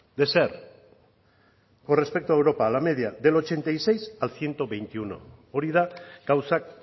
de ser con respecto a europa la media del ochenta y seis al ciento veintiuno hori da gauzak